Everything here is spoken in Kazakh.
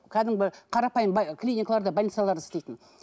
кәдімгі қарапайым клиникаларда больницаларда істейтін